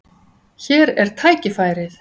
Hér er tækifærið.